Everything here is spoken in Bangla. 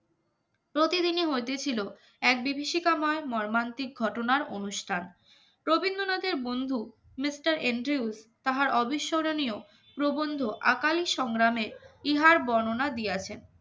প্রতিদিনই হয়তে ছিল এক বিভীষিকাময় মর্মান্তিক ঘটনার অনুষ্ঠান রবীন্দ্রনাথের বন্ধু মিস্টার এন ড্রিউস তাহার অবিস্মরণীয় প্রবন্ধ আকালী সংগ্রামের ইহার বর্ণনা দিয়াছেন